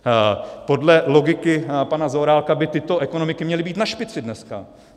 Podle logiky pana Zaorálka by tyto ekonomiky měly být na špici dneska.